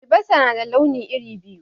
Albasa na da launi iri biyu.